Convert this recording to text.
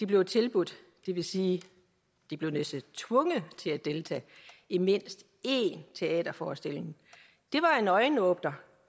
blev tilbudt det vil sige de blev næsten tvunget til at deltage i mindst én teaterforestilling det var en øjenåbner